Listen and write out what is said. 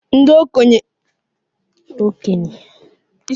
Ndị okenye ga-enwe nzukọ n'ụlọ nzukọ obodo dị n'ámá obodo